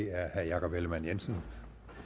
er herre jakob ellemann jensen